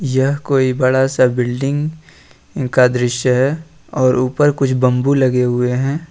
यह कोई बड़ा सा बिल्डिंग का दृश्य है और ऊपर कुछ बंबू लगे हुए हैं।